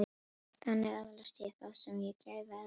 Þannig öðlaðist ég það sem ég gæfi öðrum.